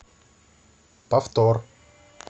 повтор